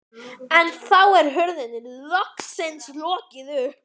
En þá er hurðinni loksins lokið upp.